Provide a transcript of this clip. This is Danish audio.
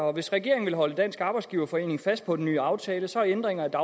og hvis regeringen vil holde dansk arbejdsgiverforening fast på den nye aftale så er ændringer af